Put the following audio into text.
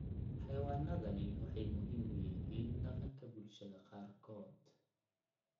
Xayawaanadani waxay muhiim u yihiin dhaqanka bulshooyinka qaarkood.